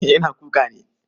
Eh yana kuka ne.